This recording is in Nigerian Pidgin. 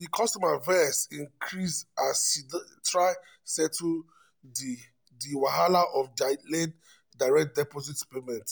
di customer vex increase as she dey try settle di di wahala of delayed direct deposit payment.